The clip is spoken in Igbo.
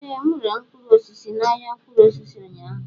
Ee, m rere mkpụrụ osisi na ahịa mkpụrụ osisi ụnyaahụ.